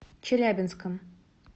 челябинском